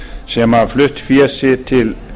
sem hafi flutt fé sitt til